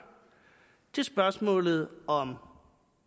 til spørgsmålet om